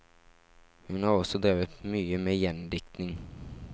Hun har også drevet mye med gjendiktning.